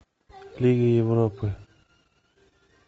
лига европы